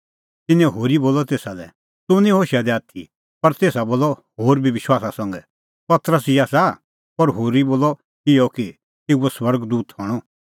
तिन्नैं होरी बोलअ तेसा लै तूह निं होशा दी आथी पर तेसा बोलअ होर बी विश्वासा संघै पतरस ई आसा पर होरी बोलअ इहअ कि तेऊओ स्वर्ग दूत हणअ